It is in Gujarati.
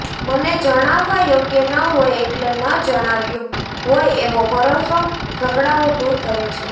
મને જણાવવા યોગ્ય ન હોય એટલે ન જણાવ્યું હોય એવો ભરોસો ઝઘડાઓ દૂર કરે છે